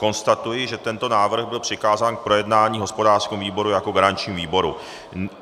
Konstatuji, že tento návrh byl přikázán k projednání hospodářskému výboru jako garančnímu výboru.